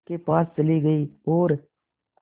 के पास चले गए और